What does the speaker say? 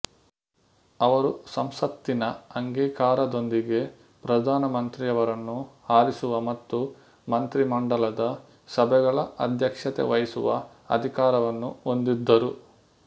ಅವರು ಸಂಸತ್ತಿನ ಅಂಗೀಕಾರದೊಂದಿಗೆ ಪ್ರಧಾನ ಮಂತ್ರಿಯವರನ್ನು ಆರಿಸುವ ಮತ್ತು ಮಂತ್ರಿಮಂಡಲದ ಸಭೆಗಳ ಅಧ್ಯಕ್ಷತೆ ವಹಿಸುವ ಅಧಿಕಾರವನ್ನು ಹೊಂದಿದ್ದರು